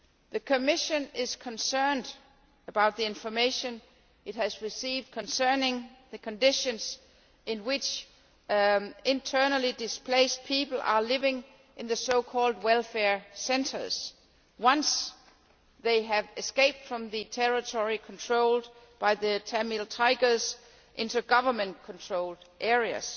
The Commission is concerned about the information it has received concerning the conditions in which internally displaced people are living in the so called welfare centres' once they have escaped from the territory controlled by the Tamil Tigers into Government controlled areas.